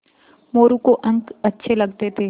मोरू को अंक अच्छे लगते थे